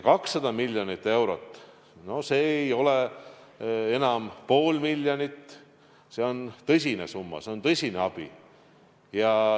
200 miljonit eurot – no see ei ole enam pool miljonit, see on suur summa, see on tõsine abi.